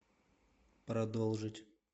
продолжить